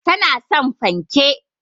Tana son fanke